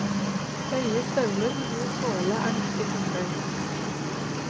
Høye støvler med god såle er nyttig fottøy.